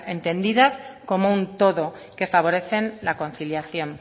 entendidas como un todo que favorecen la conciliación